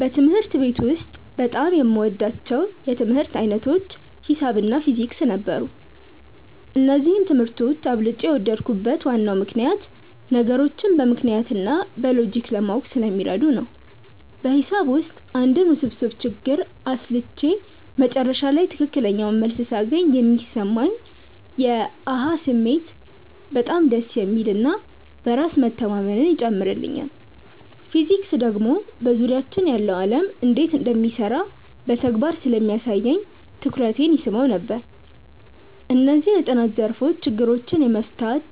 በትምህርት ቤት ውስጥ በጣም የምወዳቸው የትምህርት ዓይነቶች ሒሳብ እና ፊዚክስ ነበሩ። እነዚህን ትምህርቶች አብልጬ የወደድኩበት ዋናው ምክንያት ነገሮችን በምክንያት እና በሎጂክ ለማወቅ ስለሚረዱ ነው። በሒሳብ ውስጥ አንድን ውስብስብ ችግር አስልቼ መጨረሻ ላይ ትክክለኛውን መልስ ሳገኝ የሚሰማኝ የ "አሃ" ስሜት በጣም ደስ የሚል እና በራስ መተማመንን ይጨምርልኛል። ፊዚክስ ደግሞ በዙሪያችን ያለው ዓለም እንዴት እንደሚሰራ በተግባር ስለሚያሳየኝ ትኩረቴን ይስበው ነበር። እነዚህ የጥናት ዘርፎች ችግሮችን የመፍታት